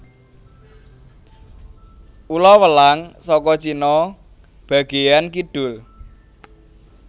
Ula welang saka Cina bagéyaan kidul